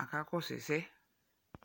akakɔsʋ ɛsɛ